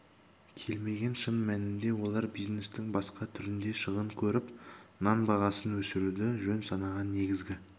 келмеген шын мәнінде олар бизнестің басқа түрінде шығын көріп нан бағасын өсіруді жөн санаған негізгі